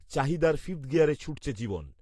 চাহিদার ফিফথ গিয়ারে ছুটছে জীবন